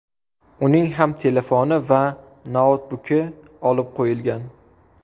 Uning ham telefoni va noutbuki olib qo‘yilgan.